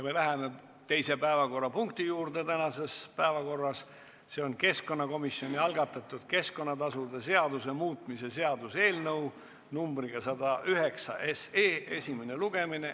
Me läheme tänase päevakorra teise punkti juurde, see on keskkonnakomisjoni algatatud keskkonnatasude seaduse muutmise seaduse eelnõu 109 esimene lugemine.